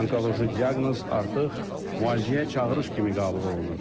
Onkoloji diaqnoz artıq müalicəyə çağırış kimi qəbul olunur.